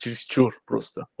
чересчур просто